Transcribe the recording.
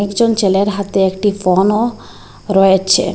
একজন ছেলের হাতে একটি ফোনও রয়েছে।